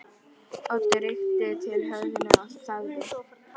Oddur rykkti til höfðinu og þagði.